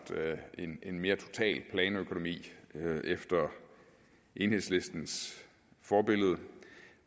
en mere total planøkonomi efter enhedslistens forbillede